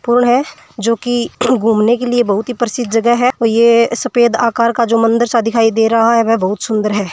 पूल है जोकि घूमने के लिए बहुत ही प्रसिद्ध जगह है और ये सफ़ेद आकार का जो मंदिर सा दिखाई दे रहा है वह बहुत सुन्दर है।